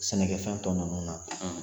Sɛnɛkɛfɛn tɔ ninnu na